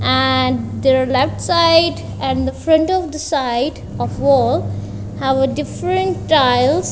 and there are left side and the front of the side of the whole have a different tiles.